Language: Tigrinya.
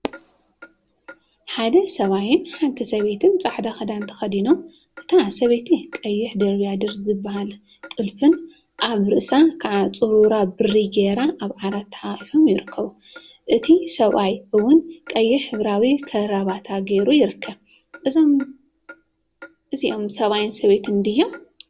ሓደ ሰብአይን ሓንቲ ሰበይትን ፃዕዳ ክዳን ተከዲኖ፤ እታ ሰበይቲ ቀይሕ ድርብያድር ዝበሃል ጥልፊን አበ ርእሳ ከዓ ፁረራ ብሪ ገይራ አብ ዓራት ተሓቋቊፎም ይርከቡ፡፡ እቲ ሰብአይ እውን ቀይሕ ሕብራዊ ከረበታ ገይሩ ይርከብ፡፡ እዚኦም ሰብአይን ሰበይትን ድዮም?